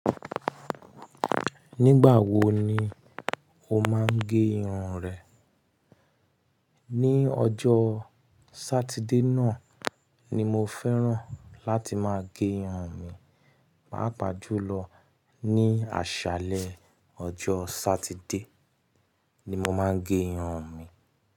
Nígbà wo ni o máa ń gẹ irun rẹ? Ni ọjọ́ Sátidé náà ni mo fẹ́ràn láti máa gẹ irun mi. Pàá pàájú lọ ní àṣálẹ́ ọjọ́ Sátidé ni mo máa ń gẹ irun mi.